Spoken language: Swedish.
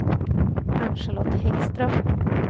Ann-Charlotte Häggström